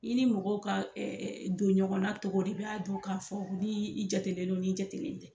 I ni mɔgɔw ka don ɲɔgɔnna togo de i b'a dɔn ka fɔ ni i jatelen do n'i jatelen tɛ.